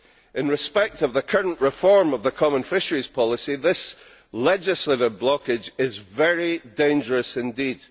In respect of the current reform of the common fisheries policy, this legislative blockage is very dangerous indeed.